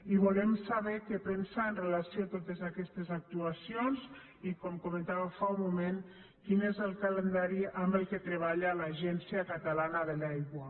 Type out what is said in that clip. i volem saber què pensa amb relació a totes aquestes actuacions i com comentava fa un moment quin és el calendari amb què treballa l’agència catalana de l’aigua